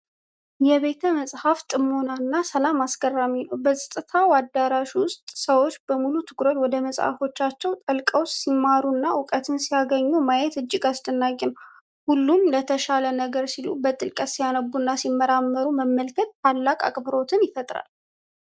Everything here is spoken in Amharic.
የቤተ መጻሕፍት ጥሞናና ሰላም አስገራሚ ነው! በጸጥታው አዳራሽ ውስጥ ሰዎች በሙሉ ትኩረት ወደ መጽሐፎቻቸው ጠልቀው ሲማሩና እውቀትን ሲያገኙ ማየት እጅግ አስደናቂ ነው። ሁሉም ለተሻለ ነገ ሲሉ በጥልቀት ሲያነቡና ሲመራመሩ መመልከት ታላቅ አክብሮትን ይፈጥራል!